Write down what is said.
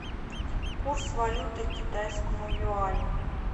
курс валюты к китайскому юаню